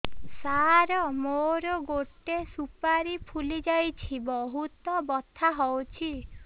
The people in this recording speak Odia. ସାର ମୋର ଗୋଟେ ସୁପାରୀ ଫୁଲିଯାଇଛି ବହୁତ ବଥା ହଉଛି